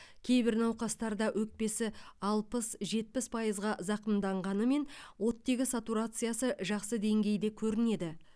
кейбір науқастарда өкпесі алпыс жетпіс пайызға зақымданғанымен оттек сатурациясы жақсы деңгейде көрінеді